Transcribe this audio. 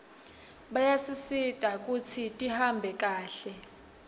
bayasisita kutsi tihambe kahle